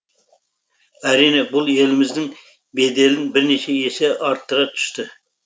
әрине бұл еліміздің беделін бірнеше есе арттыра түсті